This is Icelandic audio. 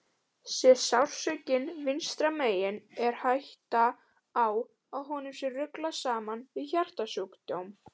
Sé sársaukinn vinstra megin er hætta á að honum sé ruglað saman við hjartasjúkdóm.